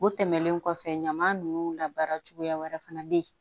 O tɛmɛnen kɔfɛ ɲaman nunnu labaara cogoya wɛrɛ fana bɛ yen